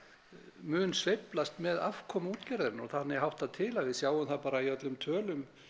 mun sveiflast með afkomu útgerðarinnar og þannig háttar til og við sjáum það bara í öllum tölum